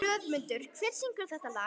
Hlöðmundur, hver syngur þetta lag?